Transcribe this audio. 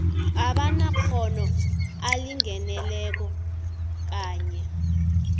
abanamkghono alingeneko kanye